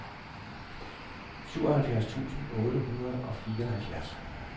syvoghalvfjerds tusind otte hundrede og fireoghalvfjerds